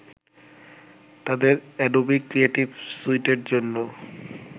তাদের Adobe Creative স্যুইটের জন্য